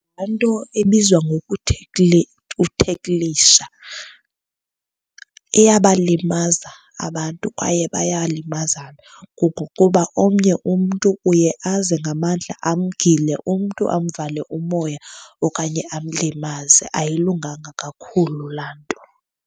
Laa nto ebizwa ngoku theklisha iyabalimaza abantu kwaye bayalimazana. Kungokuba omnye umntu uye aze ngamandla amgile umntu amvale umoya okanye amlimaze. Ayilunganga kakhulu laa nto.